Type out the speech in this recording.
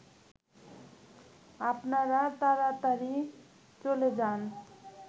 আপনারা তাড়াতাড়ি চলে যান